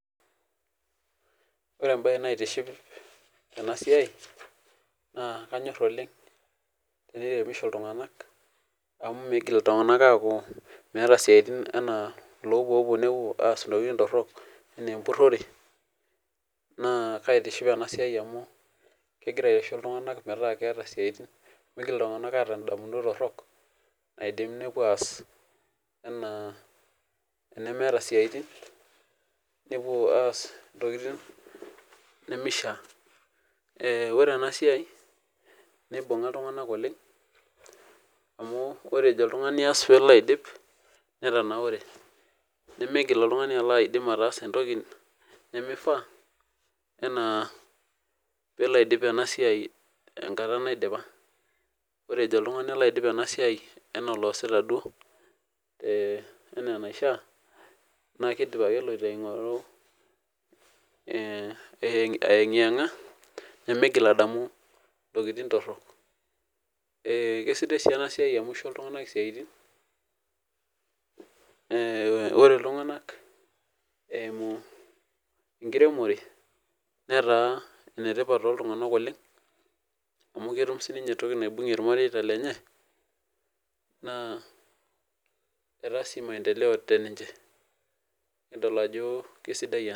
Ore embae naitiship tenasia na kanyor oleng teneremisho ltunganak amu migil ltunganak aaku meeta siatin metaa lopuopuo neas ntokitin torok anaa empurore naa kaitiship enasia amu migil ltunganak atum ndamunot torok naidim nepuo aas ana nemeetabsiaitin nepuo aas ntokitin nimishaa ore enasia ore ejo oltungani aas pelo aidip netanaure nimigil oltungani alo aas esiai nimifaa anaa pelo aidip enasiai enkata naidipa ore pejo oltungani alo aidip enasia enaa oloosita duo na kidim ake eloito aengianga ningil adamu ntokitin torok na kesidai si enasia amu kisho ltunganak siatin yiolo ltunganak enkiremore nataa enetipat toltunganak amu kibungie irmareita lenye na etaa si maendeleo teninche nikidol ajo kesidae ena